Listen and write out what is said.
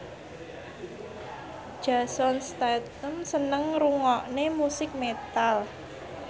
Jason Statham seneng ngrungokne musik metal